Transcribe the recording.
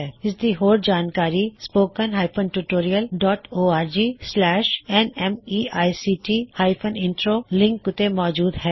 ਇਸ ਦੀ ਹੋਰ ਜਾਣਕਾਰੀ spoken tutorialorgnmeict ਇੰਟਰੋ ਲਿੰਕ ਉੱਤੇ ਮੌਜੂਦ ਹੈ